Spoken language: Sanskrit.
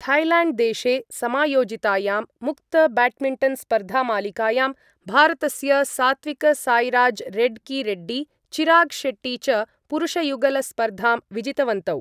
थैय्ल्याण्ड्देशे समायोजितायां मुक्तब्याड्मिण्टन्स्पर्धामालिकायां भारतस्य सात्विकसाईराजरेड्कीरेड्डी चिरागशेट्टी च पुरुषयुगलस्पर्धां विजितवन्तौ।